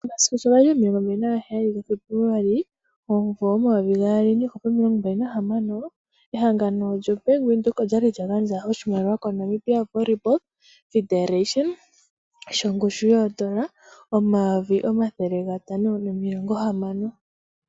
Omasiku shi gali 27 Febuluali 2026, ehangano lyo Bank Windhoek okwa li lya gandja oshimaliwa koNamibia Volleyball Federation shongushu yoondola 560 000.